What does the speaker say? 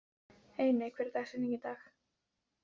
Einey, hver er dagsetningin í dag?